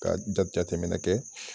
Ka jajatɛminɛ kɛ